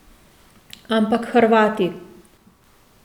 Ampak Hrvati.